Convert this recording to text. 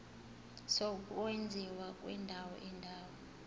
sokwenziwa kwendawo indawo